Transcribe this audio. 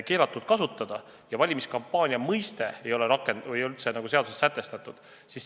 Samas ei ole valimiskampaania mõiste seaduses üldse sätestatud.